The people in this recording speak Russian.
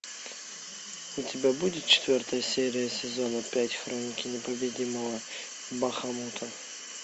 у тебя будет четвертая серия сезона пять хроники непобедимого бахамута